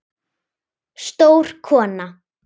Stór kona.